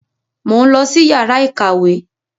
Mo ń lọ sí yàrá ìkàwé.